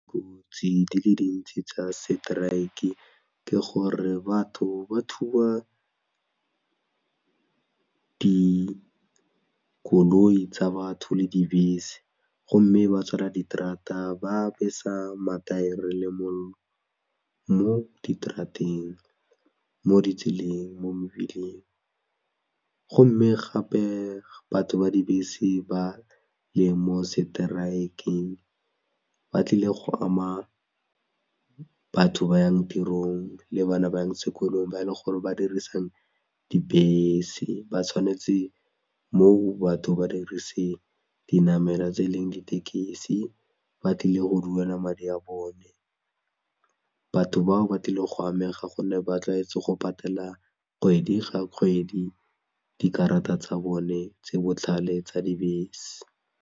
Dikotsi di le dintsi tsa strike ke gore batho ba thuba dikoloi tsa batho le dibese gomme ba tswala diterata ba besa mathaere le mollo, mo ditrateng, mo ditseleng, mo mebileng gomme gape batho ba dibese ba le mo strike-ng ba tlile go ama batho ba yang tirong le baba ba yang sekolong ba e leng gore ba dirisa dibese ba tshwanetse mo batho ba dirise dinamelwa tse e leng ditekesi ba tlile go duela madi a bone, batho bao ba tlile go amega gonne ba tlwaetse go patela kgwedi ga kgwedi dikarata tsa bone tse botlhale tsa dibese